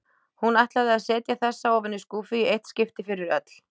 Hún ætlaði að setja þessa ofan í skúffu í eitt skipti fyrir öll.